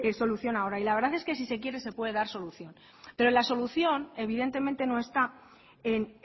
solución ahora y la verdad es que si se quiere se puede dar solución pero la solución evidentemente no está en